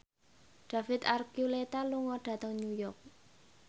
David Archuletta lunga dhateng York